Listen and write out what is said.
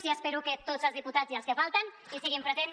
i espero que tots els diputats i els que falten hi siguin presents